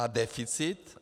A deficit?